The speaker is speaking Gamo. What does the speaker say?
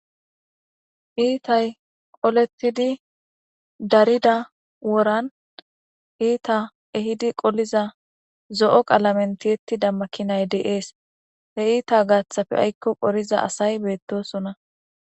Kiththay olettidi darida woran kiththay ehidi qoliza zo'o qalammen toyettida makinnay de'es. He heththa gattappe aykko qorza asay bettosonna.